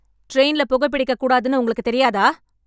ட்ரெயின்ல புகை பிடிக்கக் கூடாதுன்னு உங்களுக்கு தெரியாதா?